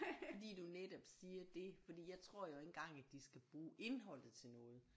Fordi du netop siger det fordi jeg tror jo ikke engang at de skal bruge indholdet til noget